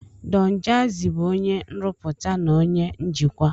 Don Jazi bụ onye nrụpụta na onye njikwa.